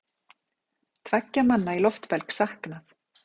Tveggja manna í loftbelg saknað